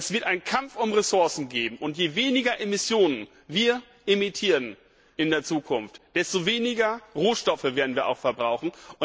Es wird einen Kampf um Ressourcen geben, und je weniger Emissionen wir in der Zukunft emittieren, desto weniger Rohstoffe werden wir auch verbrauchen.